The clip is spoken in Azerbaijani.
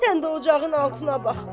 Sən də ocağın altına bax.